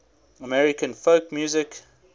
american folk music